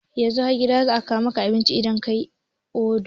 Yanzu har gida za a kawo maka abinci idan kayi oda